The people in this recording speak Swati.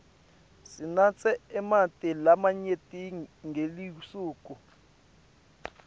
sinatse emanti lamanyenti ngelisuku